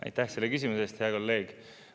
Aitäh selle küsimuse eest!